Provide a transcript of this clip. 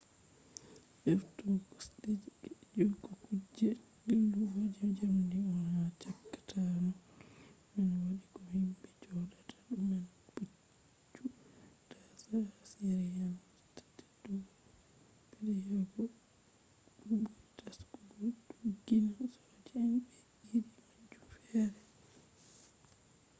heftugo kosde je kuge dillugo je jamdi on ha chaka tarol man wadi ko himbe jodata do man puccu dasa je assyrian usta teddugo bedda yawugo bo buri taskugo doggina soja en be iri majum fere